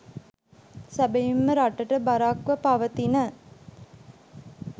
සැබැවින්ම රටට බරක්ව පවතින